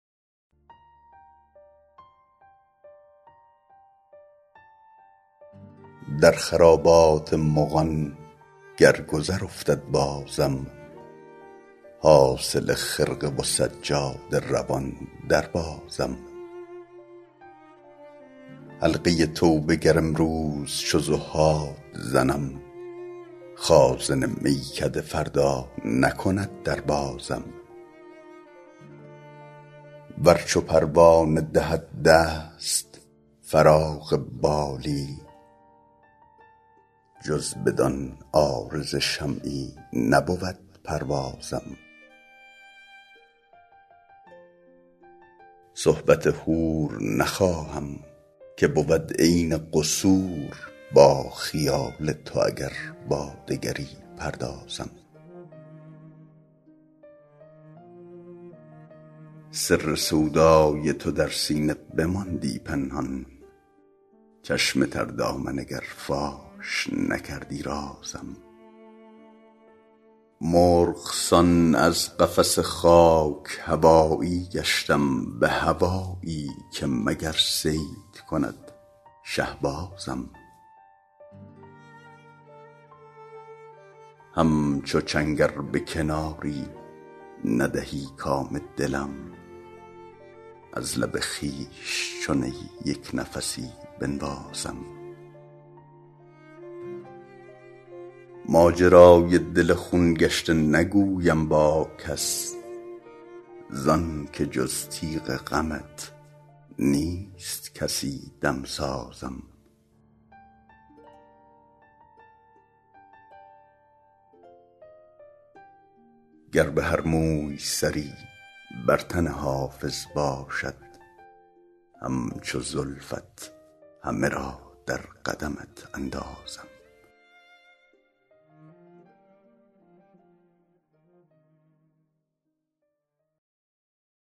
در خرابات مغان گر گذر افتد بازم حاصل خرقه و سجاده روان دربازم حلقه توبه گر امروز چو زهاد زنم خازن میکده فردا نکند در بازم ور چو پروانه دهد دست فراغ بالی جز بدان عارض شمعی نبود پروازم صحبت حور نخواهم که بود عین قصور با خیال تو اگر با دگری پردازم سر سودای تو در سینه بماندی پنهان چشم تر دامن اگر فاش نکردی رازم مرغ سان از قفس خاک هوایی گشتم به هوایی که مگر صید کند شهبازم همچو چنگ ار به کناری ندهی کام دلم از لب خویش چو نی یک نفسی بنوازم ماجرای دل خون گشته نگویم با کس زان که جز تیغ غمت نیست کسی دمسازم گر به هر موی سری بر تن حافظ باشد همچو زلفت همه را در قدمت اندازم